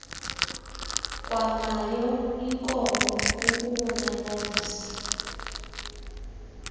kwanayo inkomo ukubonakalisa